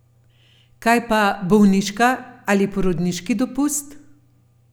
Kaj pa bolniška ali porodniški dopust?